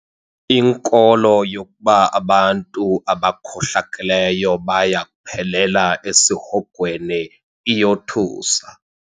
Inkolo yokuba abantu abakhohlakeleyo baya kuphelela esihogweni iyothusa.